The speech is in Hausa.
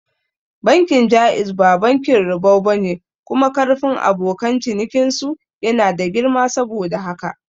Bankin Jaiz ba bankin ribau bane kuma karfin abokan cinikin su yana da girma saboda haka